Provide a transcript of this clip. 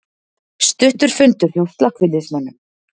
Stuttur fundur hjá slökkviliðsmönnum